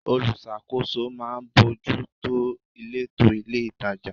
Olùṣàkóso máa ń bójú tó ìletò ilé-itàjà.